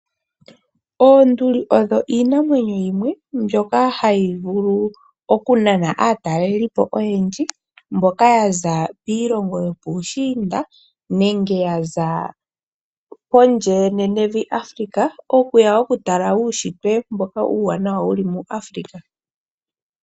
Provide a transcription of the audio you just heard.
Oonduli odho iinamwenyo yimwe mbyoka hayi vulu oku nana aatalelipo oyendji . Mboka ya za kiilonga yopuushiinda nenge ya za kondje ye nenevi Afrika okuya oku tala uunshitwe mboka uuwana wuli mu Afrika.